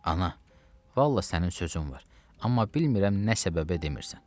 Ana, vallah sənin sözün var, amma bilmirəm nə səbəbə demirsən.